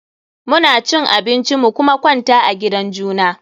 Mu na cin abinci mu kuma kwanta a gidan juna.